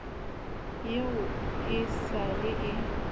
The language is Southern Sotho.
eo e sa le e